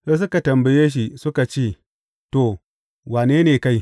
Sai suka tambaye shi suka ce, To, wane ne kai?